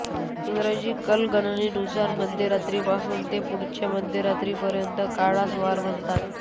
इंग्रजी कालगणनेनुसार मध्यरात्रीपासून ते पुढच्या मध्यरात्रीपर्यंतच्या काळास वार म्हणतात